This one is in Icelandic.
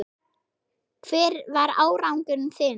Hver var árangur þinn?